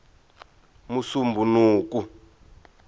musumbhunuku